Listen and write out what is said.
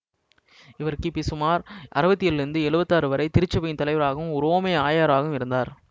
இவர் கிபி சுமார் அறுபத்தி ஏழிலிருந்து எழுவத்தி ஆறு வரை திருச்சபையின் தலைவராகவும் உரோமை ஆயராகவும் இருந்தார்